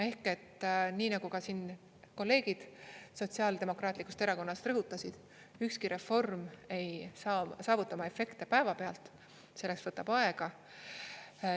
Ehk et nii nagu ka siin kolleegid Sotsiaaldemokraatlikust Erakonnast rõhutasid, ükski reform ei saa saavuta oma efekte päevapealt, see võtab aega.